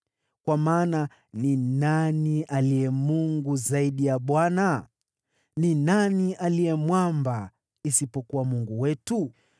Kwa maana ni nani aliye Mungu zaidi ya Bwana ? Ni nani aliye Mwamba isipokuwa Mungu wetu?